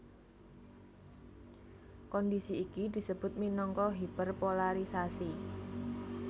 Kondhisi iki disebut minangka hiperpolarisasi